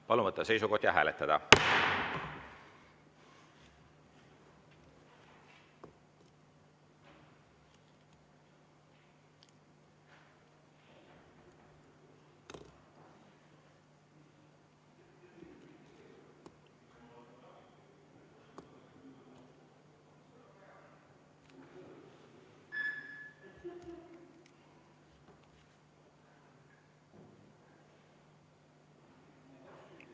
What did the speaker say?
Palun võtta seisukoht ja hääletada!